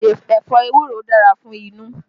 Ẹ̀fọ́ ewuro dára fún inú